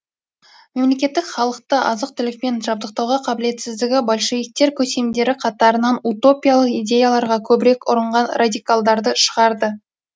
мемлекеттік халықты азық түлікпен жабдықтауға қабілетсіздігі большевиктер көсемдері қатарынан утопиялық идеяларға көбірек ұрынған радикалдарды шығарды